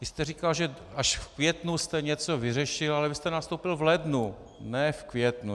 Vy jste říkal, že až v květnu jste něco vyřešil, ale vy jste nastoupil v lednu, ne v květnu.